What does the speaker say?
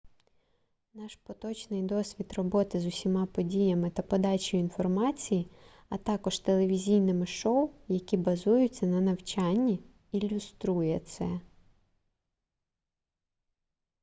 наш поточний досвід роботи з усіма подіями та подачею інформації а також телевізійними шоу які базуються на навчанні ілюструє це